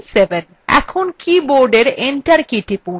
এখন কীবোর্ডএর enter key টিপুন